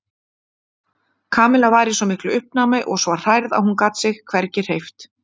Kamilla var í svo miklu uppnámi og svo hrærð að hún gat sig hvergi hreyft.